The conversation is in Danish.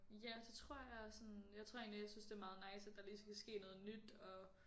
Ja det tror jeg og sådan jeg tror egentlig jeg synes det er meget nice at der lige skal ske noget nyt og